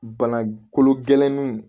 Bana kolo gɛlɛninw